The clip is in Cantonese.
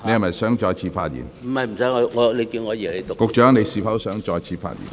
運輸及房屋局局長，你是否想再次發言？